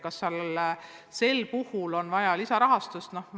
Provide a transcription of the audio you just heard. Kas sel puhul on vaja lisarahastust?